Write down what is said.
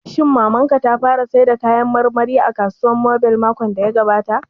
Shin Mamar ka ta fara sayar da kayan marmari a kasuwar mobile makon da ya gabata?